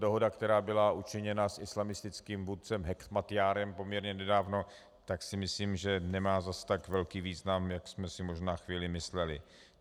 Dohoda, která byla učiněna s islamistickým vůdcem Hekmatjárem poměrně nedávno, tak si myslím, že nemá zas tak velký význam, jak jsme si možná chvíli mysleli.